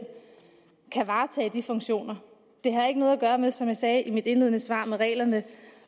kan varetage de funktioner det har ikke noget at gøre med som jeg sagde i mit indledende svar med reglerne